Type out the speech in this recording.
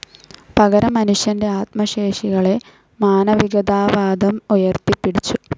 പകരം മനുഷ്യന്റെ ആത്മശേഷികളെ മാനവികതാവാദം ഉയർത്തിപ്പിടിച്ചു.